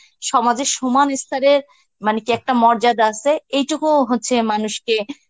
সমাজে সমান স্তরের মানে কিএকটা মর্যাদা আসে এইটুকু হচ্ছে মানুষকে